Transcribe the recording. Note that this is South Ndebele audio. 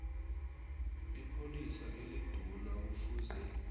ipholisa eliduna kufuze